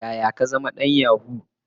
Yaya ka zama dan yahoo?